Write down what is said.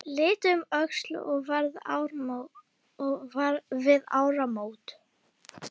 Litið um öxl við áramót.